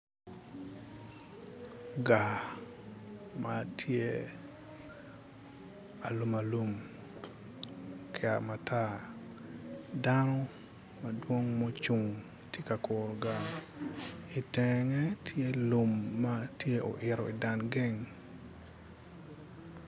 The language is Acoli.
Gaa ma tye alum alum kika matar dano madwong mucung ka kuru gaa itenge tye lum tye lum ma oito iteng geng.